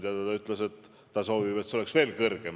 Minu teada nad soovivad, et see osakaal oleks veel suurem.